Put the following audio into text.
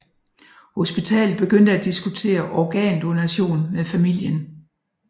Hospitalet begyndte at diskutere organdonation med familien